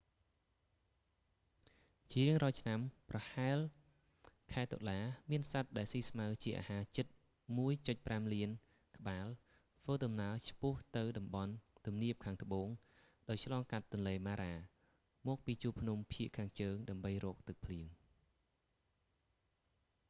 ជារៀងរាល់ឆ្នាំប្រហែលខែតុលា មានសត្វដែលស៊ីស្មៅជាអាហារជិត 1,5 លានក្បាលធ្វើដំណើរឆ្ពោះទៅតំបន់ទំនាបខាងត្បូងដោយឆ្លងកាត់ទន្លេ mara មកពីជួរភ្នំភាគខាងជើងដើម្បីរកទឹកភ្លៀង